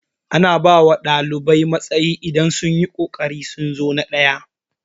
Ana bawa ɗalibai matsayi idan sunyi kokarin sun zo na ɗaya